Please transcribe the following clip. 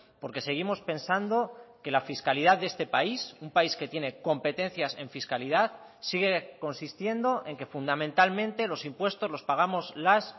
porque seguimos pensando que la fiscalidad de este país un país que tiene competencias en fiscalidad sigue consistiendo en que fundamentalmente los impuestos los pagamos las